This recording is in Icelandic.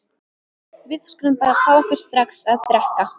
Við skulum bara fá okkur strax að drekka.